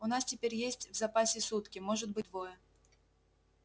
у нас теперь есть в запасе сутки может быть двое